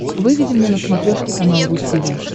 выведи мне на смотрешке канал ру ти ви